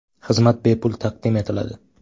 Xizmat bepul taqdim etiladi.